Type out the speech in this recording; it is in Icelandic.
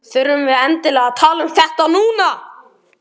Þurfum við endilega að tala um þetta núna?